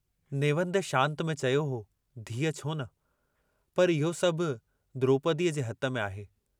नेवंद शांत में चयो हो धीअ छोन, पर इहो सभु द्रोपदीअ जे हथ में आहे।